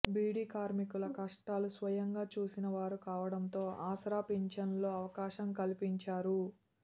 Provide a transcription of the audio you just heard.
బీడీ కార్మికుల కష్టాలు స్వయంగా చూసిన వారు కావడంతో ఆసరా పింఛన్లలో అవకాశం కల్పించారు